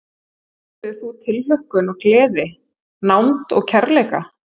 Upplifðir þú tilhlökkun og gleði, nánd og kærleika?